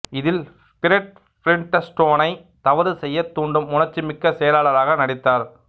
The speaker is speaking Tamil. இதில் பிரெட் பிலிண்ட்ஸ்டோனை தவறு செய்யத் தூண்டும் உணர்ச்சிமிக்க செயலாளராக நடித்தார்